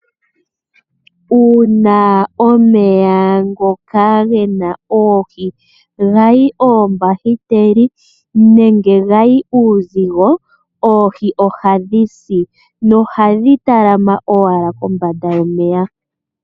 Uuna omeya ngoka ge na oohi ga yi oombahiteli nenge ga yi uuzigo, oohi ohadhi si nohadhi kala dha kaama owala kombanda yomeya.